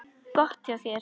Gott hjá þér.